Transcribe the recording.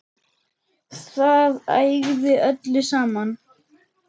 Það ægði öllu saman.